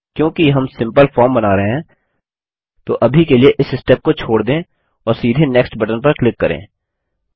क्योंकि हम simple form बना रहे हैं तो अभी के लिए इस स्टेप को छोड़ दें और सीधे नेक्स्ट बटन पर क्लिक करें